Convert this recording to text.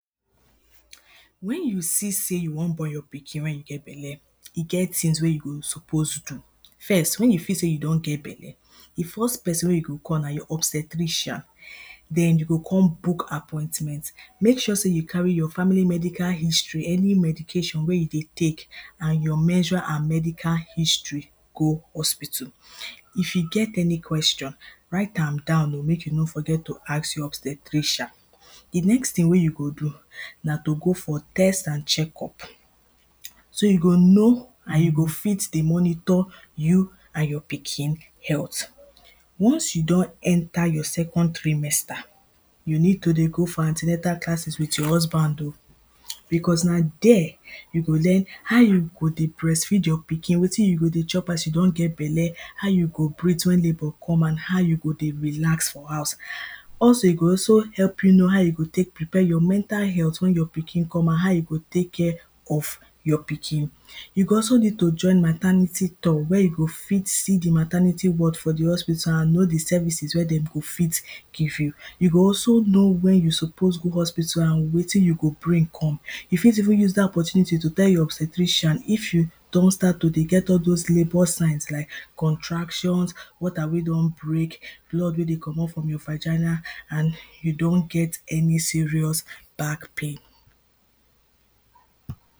Wen you see sey you wan born you pikin wey you get belle, e get things wey you go suppose do First wen you feel sey you don get belle, di first person wey you go call na your obstetrician then you go come book apartment, Make sure sey you carry your family medical history, any medication wey you dey take and your menstrual and medical history go hospital If you get any question write am down oh make you no forget to ask your obstetrician Di next thing wey you go do, na to go for test and check up so you go know and you go fit dey monitor you and your pikin health Once you don enter your second trimester, you need to dey go for antinatal classes with your husband oh becos na there you go learn how you go dey breast feed your pikin, wetin you go dey chop as you don get belle how you go breath wen labour come and how go dey relax for house Also e go also help know how you go prepare your mental health wen your pikin come out, how you go take care of your pikin. You go also need to join maternity tour wey you fit see di maternity ward for di hospital and know di services wey dem go fit give you. You go also know wen you suppose go hospital and wetin you go bring come. You fit also use di opportunity to tell you obstetrician if you don start to get all those sleepless night like contractions water wey don break, blood wey dey comot for your vagina and you don get any serious back pain